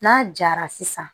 N'a jara sisan